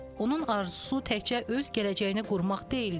Onun arzusu təkcə öz gələcəyini qurmaq deyildi.